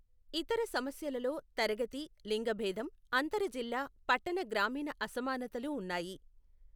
ఇతర సమస్యలలో తరగతి, లింగభేదం, అంతర జిల్లా, పట్టణ గ్రామీణ అసమానతలు ఉన్నాయి.